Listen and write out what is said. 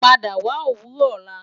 Pada wa owurọ ọla